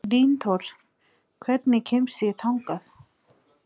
Dynþór, hvernig kemst ég þangað?